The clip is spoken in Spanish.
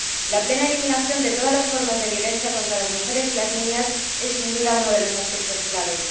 La plena eliminación de todas las formas de violencia contra las mujeres y las niñas es, sin duda, uno de los aspectos clave.